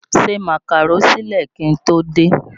Se Màkàró sílẹ̀ kí n tó dé!